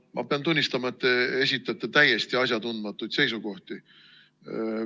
No ma pean tunnistama, et te esitate täiesti asjatundmatuid seisukohti.